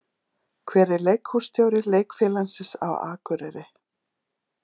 Hver er leikhússtjóri leikfélagsins á Akureyri?